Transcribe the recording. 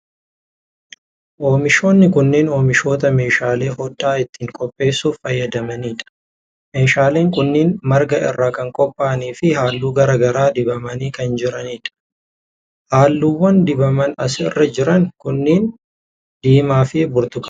Oomishoonni kunneen oomishoota meeshaalee hodhaa ittiin qopheessuuf fayyadanii dha. Oomishaaleen kunneen marga irraa kan qopha'anii fi haalluu garaa garaa dibamanii kan jiranii dha. Haalluuwwan dibaman as irra jiran kunneen, diimaa fi burtukaana dha.